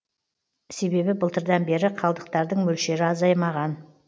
себебі былтырдан бері қалдықтардың мөлшері азаймаған